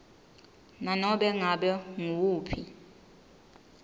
nanobe ngabe nguwuphi